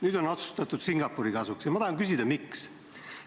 Nüüd on otsustatud Singapuri kasuks ja ma tahan küsida, miks.